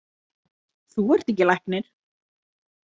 Þú ert ekki læknir.